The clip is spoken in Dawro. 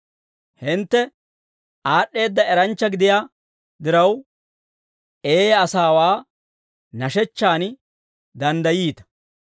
Hintte aad'd'eedda eranchcha gidiyaa diraw, eeyaa asaawaa nashechchan danddayiita.